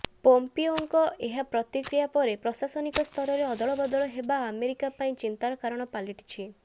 ପୋମ୍ପିଓଙ୍କ ଏହି ପ୍ରତିକ୍ରିୟା ପରେ ପ୍ରଶାସନିକ ସ୍ତରରେ ଅଦଳ ବଦଳ ହେବା ଆମେରିକା ପାଇଁ ଚିନ୍ତାର କାରଣ ପାଲଟିଛି